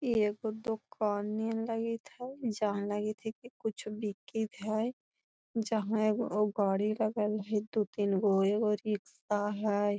इ एगो दुकान नियर लगत हई जाम लगत हई की कुछु बिकित हई जाम में एगो गाड़ी लगल हई दू तीनगो एगो रिक्शा हई।